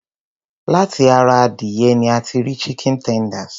Láti ara adìyẹ ní a ti rí chicken tenders.